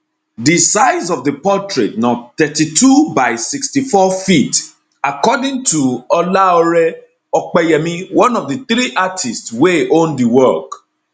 di size of di portrait na 32 by 64ft according to olaore opeyemi one of di three artists wey own di work